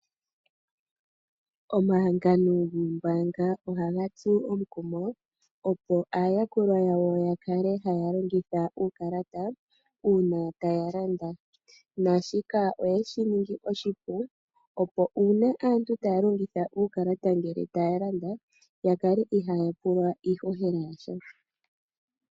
Omahangano gombaanga ohaga tsu omukumo, opo aayakulwa yawo ya kale haya longitha uukalata uuna taya landa. Naashika oyeshi ningi oshipu opo uuna aantu taya longitha uukalata ngele taya landa ya kale ihaaya pulwa iihohela yasha.